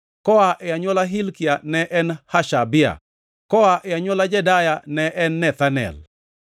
koa e anywola Hilkia ne en Hashabia; koa e anywola Jedaya ne en Nethanel.